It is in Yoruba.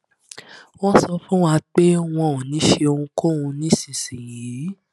wọn sọ fún wa pé wọn ò ní ṣe ohunkóhun nísinsìnyí